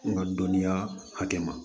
N ka dɔnniya hakɛ ma